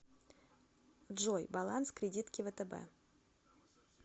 джой баланс кредитки втб